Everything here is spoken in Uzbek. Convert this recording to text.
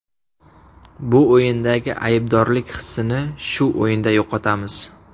Bu o‘yindagi aybdorlik hissini shu o‘yinda yo‘qotamiz.